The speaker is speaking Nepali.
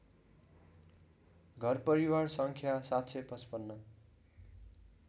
घरपरिवार सङ्ख्या ७५५